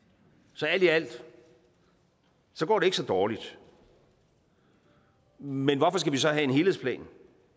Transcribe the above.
så alt i alt går det ikke så dårligt men hvorfor skal vi så have en helhedsplan